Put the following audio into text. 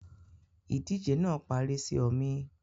Ìdíje náà parí sì ọmi